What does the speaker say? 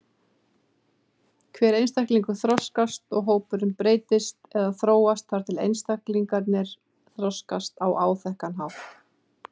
Hver einstaklingur þroskast og hópurinn breytist eða þróast þar eð einstaklingarnir þroskast á áþekkan hátt.